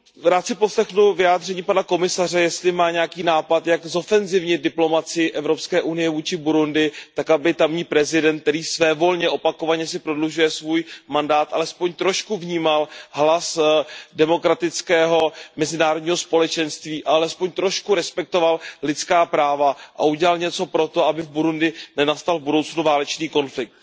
Rád si poslechnu vyjádření pana komisaře, jestli má nějaký nápad, jak zofenzivnit diplomacii Evropské unie vůči Burundi tak, aby tamní prezident, který si svévolně a opakovaně prodlužuje svůj mandát, alespoň trošku vnímal hlas demokratického mezinárodního společenství a alespoň trošku respektoval lidská práva a udělal něco pro to, aby v Burundi nenastal v budoucnu válečný konflikt.